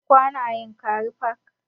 Mun kwana a yankari park